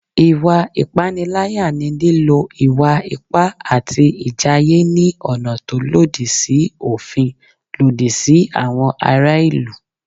Ìwà ìpániláyà ni lílò ìwà ipá àti ìjàyè ní ọ̀nà tó lòdì sí òfin lòdì sí àwọn ará ìlú